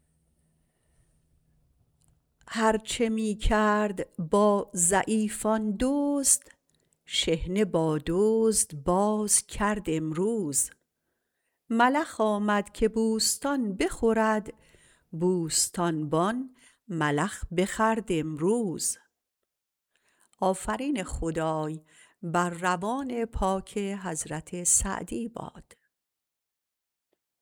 هر چه می کرد با ضعیفان دزد شحنه با دزد باز کرد امروز ملخ آمد که بوستان بخورد بوستانبان ملخ بخورد امروز